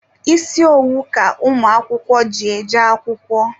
Isi owu ka ụmụakwụkwọ ji eje akwụkwọ.